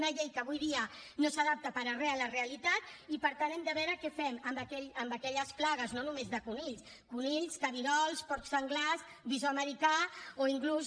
una llei que avui dia no s’adapta per a re a la realitat i per tant hem de veure què fem amb aquelles plagues no només de conills conills cabirols porcs senglars visó americà o inclús